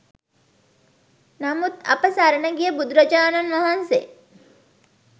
නමුත් අප සරණ ගිය බුදුරජාණන් වහන්සේ